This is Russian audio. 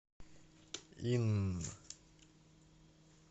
инн